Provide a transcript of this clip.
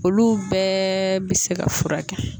Olu bɛɛ bɛ se ka furakɛ